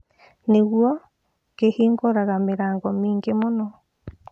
Nĩguo, kĩhingũraga mĩrango mĩingĩ mũno.